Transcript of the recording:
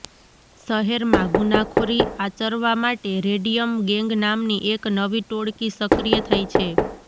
શહેરમાં ગુનાખોરી આચરવા માટે રેડિયમ ગેંગ નામની એક નવી ટોળકી સક્રીય થઈ છે